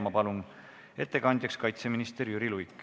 Palun, ettekandja kaitseminister Jüri Luik!